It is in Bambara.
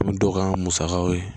Ni dɔgɔya musakaw ye